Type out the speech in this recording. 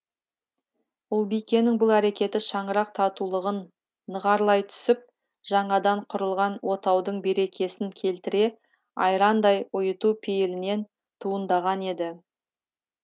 ұлбикенің бұл әрекеті шаңырақ татулығын нығарлай түсіп жаңадан құрылған отаудың берекесін келтіре айрандай ұйыту пейілінен туындаған еді